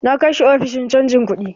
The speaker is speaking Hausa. Na kai shi ofishin canja kuɗi